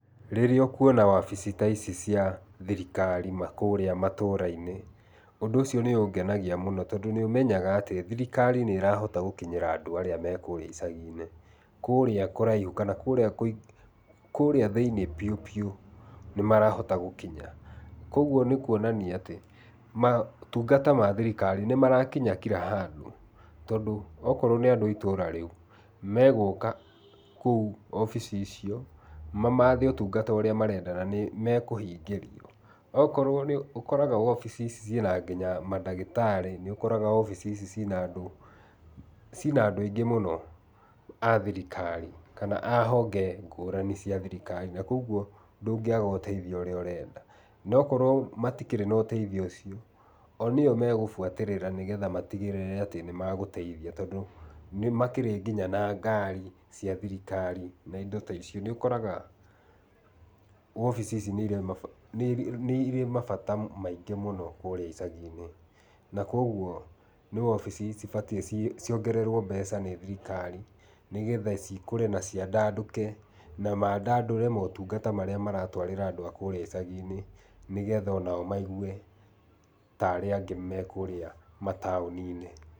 Rĩrĩa ũkũona wabici ta ici cia thirikari nakũrĩa matũrainĩ, ũndũ ũcio nĩũngenagia mũno tondũ nĩũmeyaga atĩ thirikari nĩhotaga gũkinyĩra andũ arĩa marĩ kũrĩa icaginĩ kũrĩa kũraihu kũrĩa thĩinĩ biũ biũ nĩmarahota gũkinya. Koguo nĩ kuonania atĩ motungata ma thirikari nĩmarakinya kira handũ tondũ akorwo nĩ andũ itũra rĩu megũka kũu wabici icio mamathe ũtungata ũrĩa marenda na nĩmekũhingĩrio. Nĩũkoraga wobici ici ciĩna nginya madagĩtarĩ nĩũkoraga wabici ici ciĩ na andũ aingĩ mũno a thirikari a honge ngũrani cia thirikari na koguo ndũngĩaga ũteithio ũrĩa ũrenda no korwo matirĩ na ũteithio ũcio o nĩo magũbuatĩrĩra nĩgetha matigĩrĩre nĩmagũteithia tondũ nĩmakĩrĩ ngĩnya na ngari cia thirikari na indo ta icio. Nĩũkoraga wobici ici nĩirĩ mabata maingĩ mũno kũrĩa icaginĩ na koguo nĩ wobici cibatie ciongererwo mbeca nĩ thirikari nĩgetha cikũre na ciandandũke, na mandandũre motungata marĩa maratwarĩra andũ kũrĩa icaginĩ nĩgetha onao maigue ta arĩa angĩ me kũrĩa mataũninĩ.